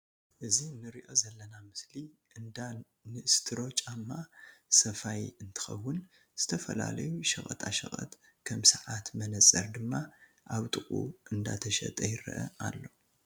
እዚ ንርኦ ዘለና ምስሊ እንዳ ንስትሮ ጫማ ሰፋይ እንትከውን ዝተፈላለዩ ሸቀጣሸቀጥ ከም ሰዓት መነፀር ድማ ኣብ ጥቁኡ እንዳተሸጠ ይረአ አሎ።